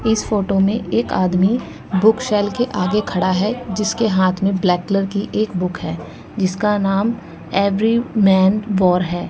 इस फोटो में एक आदमी बुकशेल के आगे खड़ा है जिसके हाथ में ब्लैक कलर की एक बुक है जिसका नाम एवरी मैन वार है।